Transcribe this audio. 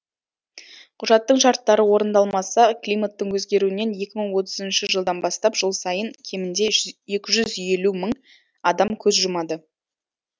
құжаттың шарттары орындалмаса климаттың өзгеруінен екі мың отызыншы жылдан бастап жыл сайын кемінде жүз екі жүз елу мың адам көз жұмады